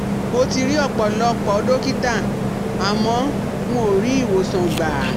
Mo ti ri ọ̀pọ̀lọpọ̀ dọ́kítà àmọ́ n ò rí ìwòsàn gbà